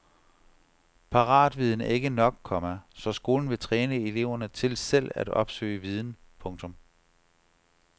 Paratviden er ikke nok, komma så skolen vil træne eleverne til selv at opsøge viden. punktum